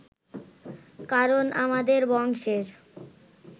কারণ আমাদের বংশের